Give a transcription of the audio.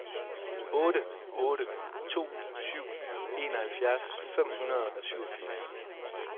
otte otte to syv enoghalvfjerds fem hundrede og syvogfirs